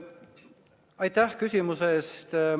Aitäh küsimuse eest!